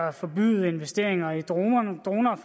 at forbyde investeringer i droner droner